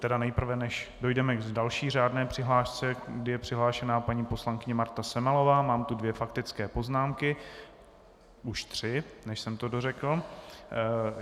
Tedy nejprve, než dojdeme k další řádné přihlášce, kdy je přihlášena paní poslankyně Marta Semelová, mám tu dvě faktické poznámky, už tři, než jsem to dořekl.